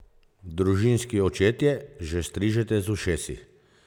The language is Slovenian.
Družinski očetje, že strižete z ušesi?